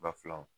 Bafilanw